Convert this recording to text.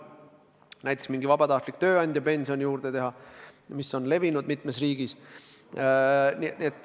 Vahest teha juurde mingi vabatahtlik tööandjapension, mis on levinud mitmes riigis.